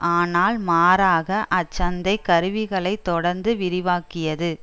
ஆனால் மாறாக அச்சந்தை கருவிகளைத் தொடர்ந்து விரிவாக்கியது